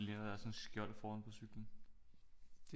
Det ligner da også sådan et skjold foran på cyklen